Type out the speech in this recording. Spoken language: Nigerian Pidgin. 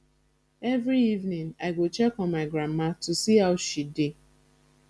every evening i go check on my grandma to see how she dey